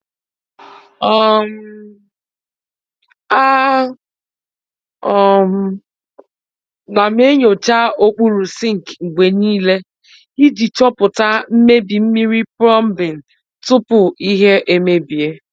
um A um nam enyocha okpuru sink mgbe niile iji chọpụta mmebi mmiri plombing tupu ihe emebie.